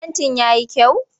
Fentin ya yi kyau?